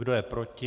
Kdo je proti?